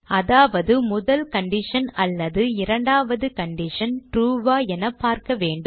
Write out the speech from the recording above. அதாவது முதல் கண்டிஷன் அல்லது இரண்டாவது கண்டிஷன் true ஆ என பார்க்க வேண்டும்